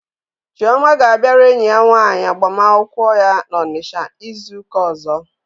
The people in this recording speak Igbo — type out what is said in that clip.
Chioma ga-abịara enyi ya nwaanyị agbamakwụkwọ ya n'Onitsha izu ụka ọzọ.